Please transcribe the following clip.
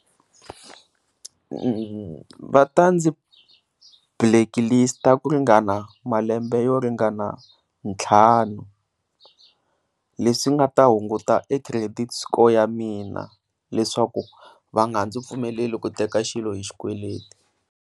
Va ta ndzi blacklist ku ringana malembe yo ringana ntlhanu leswi nga ta hunguta credit score ya mina leswaku va nga ndzi pfumeleli ku teka xilo hi xikweleti.